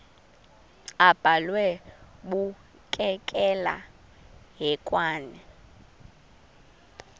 abhalwe bukekela hekwane